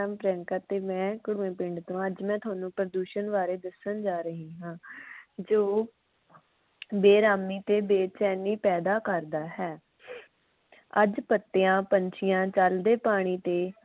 ਪ੍ਰਿਯੰਕਾ ਤੇ ਮੈਂ ਪਿੰਡ ਤੋਂ ਹਾਂ ਅੱਜ ਮੈਂ ਤੁਹਾਨੂੰ ਪ੍ਰਦੂਸ਼ਣ ਬਾਰੇ ਦੱਸਣ ਜਾ ਰਹੀ ਹਾਂ ਜੋ ਬੇਰਾਮੀ ਤੇ ਬੇਚੈਨੀ ਪੈਦਾ ਕਰਦਾ ਹੈ । ਅੱਜ ਪੱਤਿਆਂ, ਪੰਛੀਆਂ ਜਲ ਦੇ ਪਾਣੀ ਤੇ ਹਵਾ